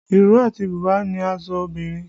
Ìró àti bùbá ni aṣọ obìnrin